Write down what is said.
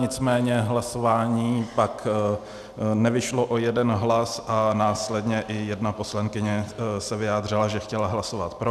Nicméně hlasování pak nevyšlo o jeden hlas a následně i jedna poslankyně se vyjádřila, že chtěla hlasovat pro.